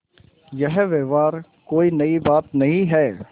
यह व्यवहार कोई नई बात नहीं है